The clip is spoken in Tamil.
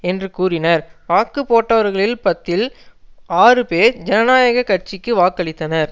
என்று கூறினர் வாக்கு போட்டவர்களில் பத்தில் ஆறு பேர் ஜனநாயக கட்சிக்கு வாக்களித்தனர்